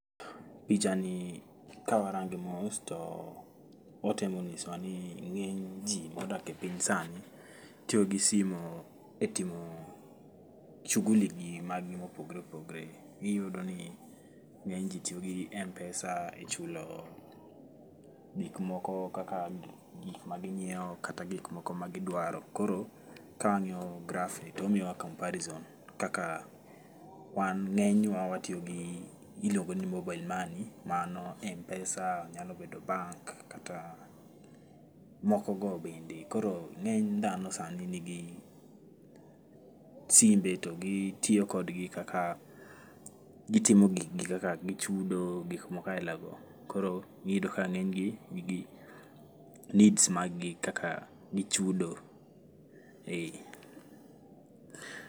Pichani kawarange mos to otemo nyisowa ni ngeny jii modake piny sani otiyo gi simu e timo shughuli gi mag gi mopogore opogore .Iyudo ni ngeny jii tiyo gi Mpesa e chulo gik moko ma ginyiew kata gik moko magidwaro. Koro kangiyo gragh ni tomiyowa comparison kaka wan, ngenywa watiyo gi iluongo ni mobile money mano Mpesa, nyalo bedo bank kata moko go bende. Koro ngeny dhano sani nigi simbe to gitiyo kodgi kaka, gitimo gikgi kaka gichudo, gik moko aila go. Koro iyudo ka ngeny gi nigi needs mag gi kaka gichudo. Eeh